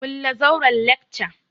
Kulle zauren lacca!